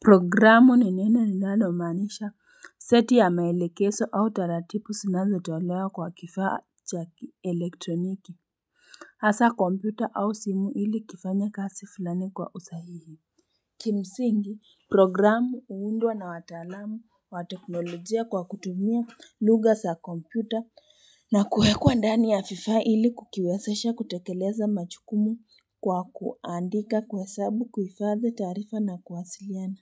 Programu ni neno linalomaanisha seti ya maelekezo au taratibu zinazotolewa kwa kifaa cha elektroniki hasa kompyuta au simu ili kifanye kasi fulani kwa usahihi Kimsingi programu huundwa na wataalamu wa teknolojia kwa kutumia lugha za kompyuta na kuwekwa ndani ya vifaa ili kukiwezesha kutekeleza majukumu kwa kuandika kuhesabu kuhifadhi taarifa na kuwasiliana.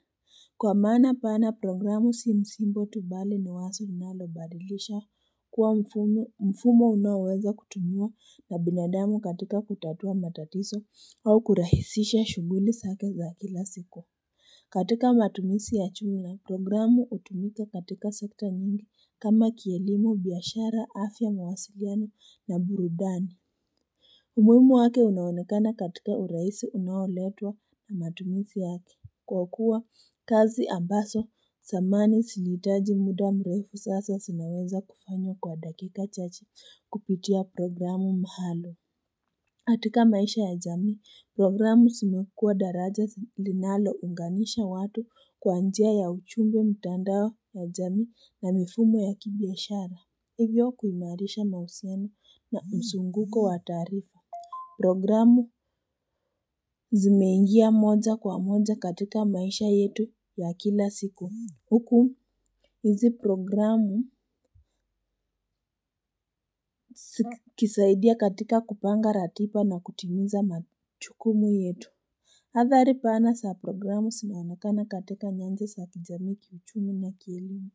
Kwa maana pana programu si msimbo tu bali ni wazo linalobadilisha kuwa mfumo mfumo unaoweza kutumiwa na binadamu katika kutatua matatizo au kurahisisha shughuli zake za kila siku. Katika matumizi ya jumla, programu hutumika katika sekta nyingi kama kielimu, biashara, afya, mawasiliano na burudani. Umuhimu wake unaonekana katika urahisi unaoletwa na matumizi yake. Kwa kuwa kazi ambazo zamani zilihitaji muda mrefu sasa zinaweza kufanywa kwa dakika chache kupitia programu maalum. Katika maisha ya jamii, programu zimekuwa daraja linalounganisha watu kwa njia ya ujumbe mtandao ya jamii na mifumo ya kibiashara. Hivyo kuimarisha na usemi na mzunguko wa taarifa. Programu zimeingia moja kwa moja katika maisha yetu ya kila siku. Huku hizi programu kisaidia katika kupanga ratiba na kutimiza majukumu yetu. Athari pana za programu zinaonekana katika nyanja za kijamii kiuchumi na kielimu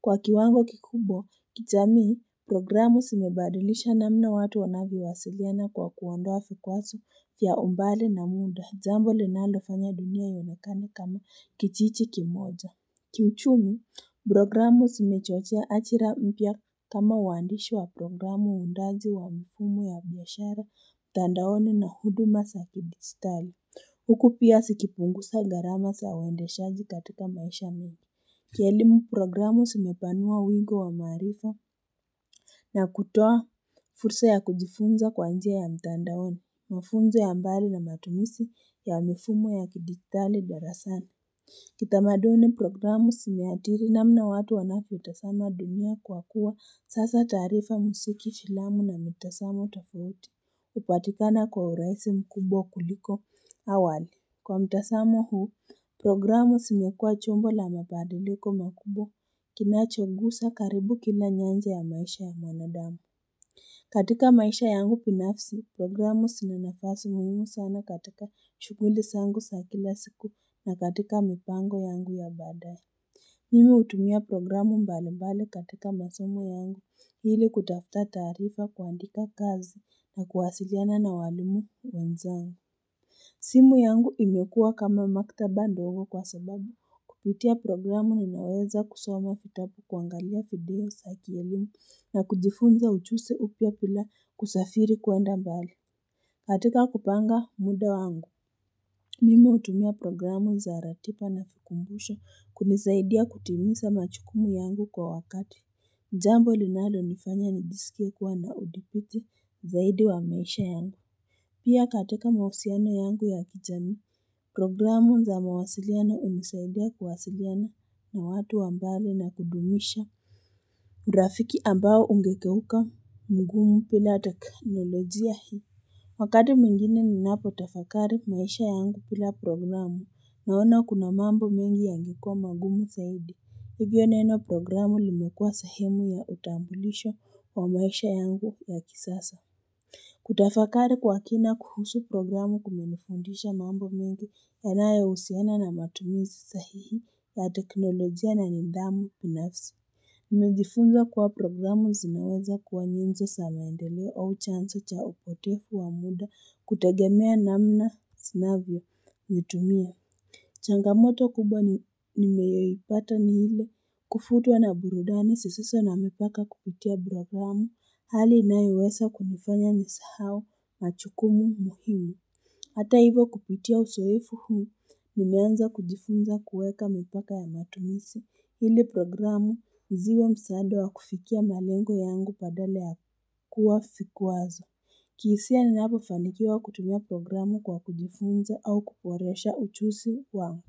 Kwa kiwango kikubwa kijamii programu zimebadilisha namna watu wanavyowasiliana kwa kuondoa vikwazo vya umbali na muda jambo linalofanya dunia ionekane kama kijiji kimoja kiuchumi programu zimechochea ajira mpya kama uandishi wa programu uundaji wa mifumo ya biashara mtandaoni na huduma za kidijitali Huku pia zikipunguza gharama za uendeshaji katika maisha mengi. Kielimu programu zimepanua wingi wa maarifa. Na kutoa fursa ya kujifunza kwa njia ya mtandaoni. Mafunzo ya mbali na matumizi ya mifumo ya kidijitali darasani. Kitamaduni programu zimeathiri namna watu wanavyotazama dunia kwa kuwa sasa taarifa muziki filamu na mitazamo tofauti. Hupatikana kwa urahisi mkubwa kuliko awali. Kwa mtazamo huu programu zimekuwa chombo la mabadiliko makubwa kinachogusa karibu kila nyanja ya maisha ya mwanadamu katika maisha yangu binafsi programu zina nafasi muhimu sana katika shughuli zangu za kila siku na katika mipango yangu ya baadaye Mimi hutumia programu mbalimbali katika masomo yangu ili kutafuta taarifa kuandika kazi na kuwasiliana na walimu wenzangu simu yangu imekuwa kama maktaba ndogo kwa sababu kupitia programu ninaweza kusoma vitabu kuangalia video za kielimu na kujifunza ujuzi upya bila kusafiri kwenda mbali. Katika kupanga muda wangu Mimi hutumia programu za ratiba na vikumbusho kunisaidia kutimiza majukumu yangu kwa wakati Jambo linalonifanya nijisikie kuwa na uthibiti zaidi wa maisha yangu Pia katika mahusiano yangu ya kijamii programu za mawasiliano hunisaidia kuwasiliana na watu wa mbali na kudumisha urafiki ambao ungegeuka mgumu bila teknolojia hii Wakati mwingine ninapotafakari maisha yangu bila programu naona kuna mambo mengi yangekwa magumu zaidi. Hivyo neno programu limekuwa sehemu ya utambulisho wa maisha yangu ya kisasa Kutafakari kwa kina kuhusu programu kumenifundisha mambo mengi yanayohusiana na matumizi sahihi ya teknolojia na nidhamu binafsi. Nimejifunza kuwa programu zinaweza kuwa nyenzo za maendeleo au chanzo cha upotevu wa muda kutegemea namna zinavyovitumia. Changamoto kubwa nimeyoipata ni ile kuvutiwa na burudani zisizo na mipaka kupitia programu hali inayoweza kunifanya nisahau majukumu muhimu. Hata hivyo kupitia uzoefu huu nimeanza kujifunza kuweka mipaka ya matumizi ili programu ziwe msaada wa kufikia malengo yangu badala ya kuwa vikwazo. Kihisia ninapofanikiwa kutumia programu kwa kujifunza au kuboresha ujuzi wangu.